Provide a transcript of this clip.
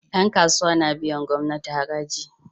Yan kasuwa na biyan gamnati haraji